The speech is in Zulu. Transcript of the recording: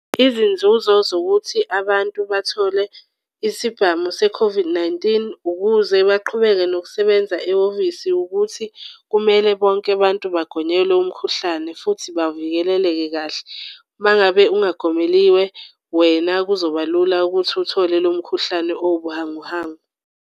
Izinzuzo zokuthi abantu bathole isibhamu se-COVID-19, ukuze baqhubeke nokusebenza ehhovisi ukuthi kumele bonke bantu bagonyelwe umkhuhlane futhi bavikeleleke kahle. Uma ngabe ungagomeliwe wena kuzoba lula ukuthi uthole lo mkhuhlane owubuhanguhangu.